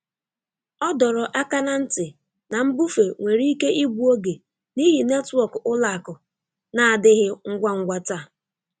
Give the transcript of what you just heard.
Ọ dọrọ aka ná ntị na mbufe nwere ike igbu oge n'ihi netwọk ụlọ akụ na-adịghị ngwa ngwa taa.